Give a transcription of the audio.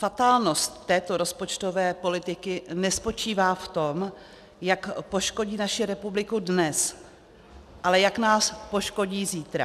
Fatálnost této rozpočtové politiky nespočívá v tom, jak poškodit naši republiku dnes, ale jak nás poškodí zítra.